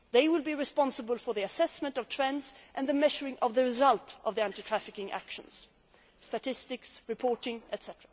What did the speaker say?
They will be responsible for the assessment of trends and measuring the result of the anti trafficking actions statistics, reporting, etc.